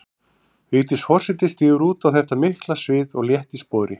Vigdís forseti stígur út á þetta mikla svið létt í spori.